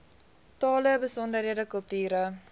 tale besondere kulture